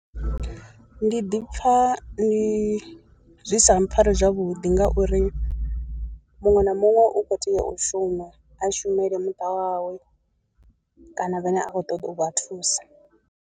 Ndi ḓi pfha ndi zwi sa mpfhari zwavhuḓi ngauri muṅwe na muṅwe u kho tea u shuma, a shumele muṱa wawe kana vhane a khou ṱoḓa u vha thusa.